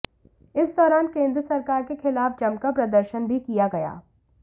इस दौरान केंद्र सरकार के खिलाफ जमकर प्रदर्शन भी किया गया